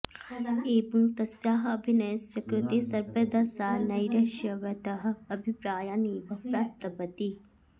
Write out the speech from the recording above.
एवं तस्याः अभिनयस्य कृते सर्वदा सा नैराश्यवतः अभिप्रायान् एव प्राप्तवती